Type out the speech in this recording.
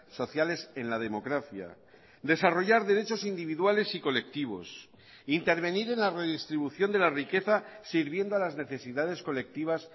sociales en la democracia desarrollar derechos individuales y colectivos intervenir en la redistribución de la riqueza sirviendo a las necesidades colectivas